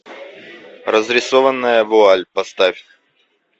разрисованная вуаль поставь